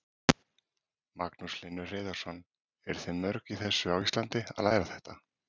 Magnús Hlynur Hreiðarsson: Eruð þið mörg í þessu á Íslandi að læra þetta?